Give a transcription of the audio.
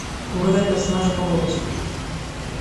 угадай персонажа по голосу